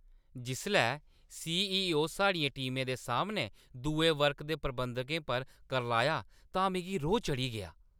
जिसलै C. E. O. साढ़ियें टीमें दे सामनै दुए वर्ग दे प्रबंधकें पर करलाया तां मिगी रोह् चढ़ी गेआ ।